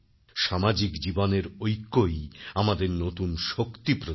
সামাজিক জীবনের ঐক্যই আমাদের নতুন শক্তি প্রদান করে